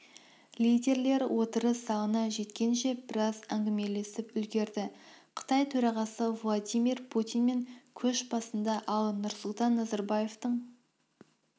лидерлер отырыс залына жеткенше біраз әңгімелесіп үлгерді қытай төрағасы владимир путинмен көш басында ал нұрсұлтан назарбаевтың